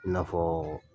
I n'a fɔ